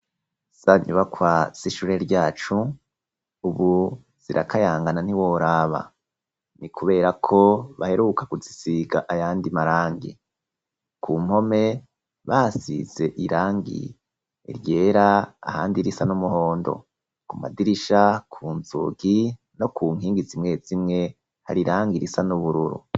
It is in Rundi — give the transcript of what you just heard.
Za nyubakwa z'ishure ryacu ubu zirakayangana ntiworaba, ni kubera ko baheruka kuzisiga ayandi marangi. Ku mpome basize irangi ryera ahandi risa n'umuhondo. Ku madirisha, ku nzugi no ku nkingi zimwe zimwe hari irangi irisa n'ubururu.